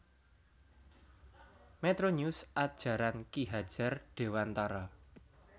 Metronews Ajaran Ki Hajar Dewantara